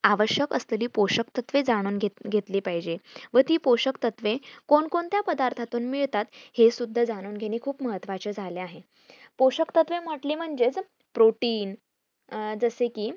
आवश्यक असलेली पोषक तत्व जाणून घेत घेतली पाहिजे व ती पोषक तत्वे कोण कोणत्या पदार्थातून मिळतात हे सुद्धा जाणून घेणे खूप महत्वाचे झाले आहे पोषक तत्वे म्हटली म्हणजे protein अं जसे कि